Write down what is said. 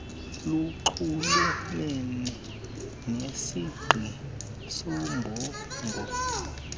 lunxulumene nesingqi soombongo